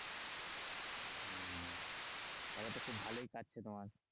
তাহলে তো খুব ভালোই কাটছে তোমার?